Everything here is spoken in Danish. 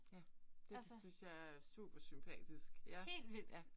Ja. Det synes jeg er supersympatisk ja ja